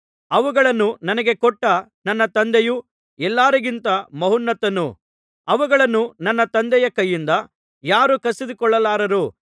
ಅವುಗಳನ್ನು ನನಗೆ ಕೊಟ್ಟ ನನ್ನ ತಂದೆಯು ಎಲ್ಲರಿಗಿಂತ ಮಹೋನ್ನತನು ಅವುಗಳನ್ನು ನನ್ನ ತಂದೆಯ ಕೈಯಿಂದ ಯಾರೂ ಕಸಿದುಕೊಳ್ಳಲಾರರು